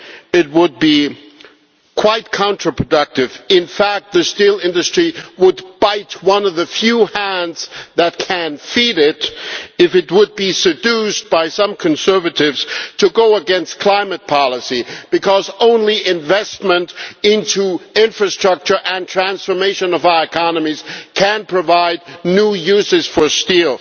It would be counterproductive in fact the steel industry would be biting one of the few hands that can feed it if it were seduced by certain conservatives to go against climate policy, because only investment in infrastructure and the transformation of our economies can provide new uses for steel.